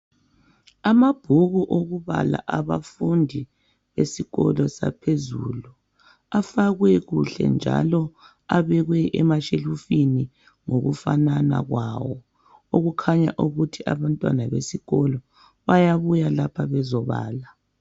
Amabhuku okubala abafundi esikolo saphezulu afakwe kuhle njalo abekwe emashelufini ngokufanana kwawo okukhanya ukuthi abantwana besikolo bayabuya lapha bezobala.